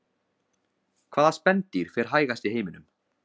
hvaða spendýr fer hægast í heiminum